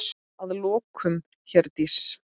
Og að lokum, Herdís.